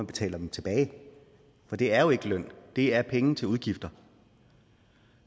betaler dem tilbage for det er jo ikke løn det er penge til udgifter